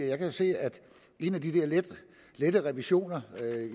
jeg kan se at en af de lette revisioner